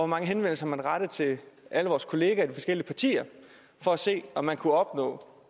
mange henvendelser man har rettet til alle vores kolleger i de forskellige partier for at se om man kunne opnå